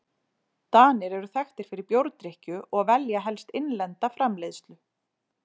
Danir eru þekktir fyrir bjórdrykkju og velja helst innlenda framleiðslu.